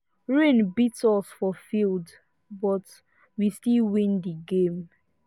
rain beat us for field but we still win the game